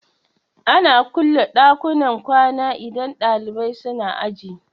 Ana kulle ɗakunan kwana idan ɗalibai suna aji